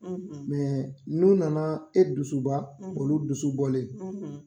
Mɛ n'o nana e dusuba, , olu dusu bɔlen,